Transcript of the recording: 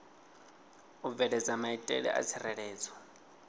u bveledza maitele a tsireledzo